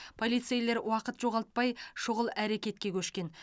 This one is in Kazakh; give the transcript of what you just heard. полицейлер уақыт жоғалтпай шұғыл әрекетке көшкен